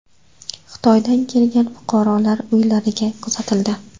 Xitoydan kelgan fuqarolar uylariga kuzatildi.